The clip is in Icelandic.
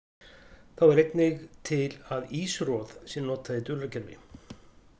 Þá er einnig til að ýsuroð sé notað í dulargervi.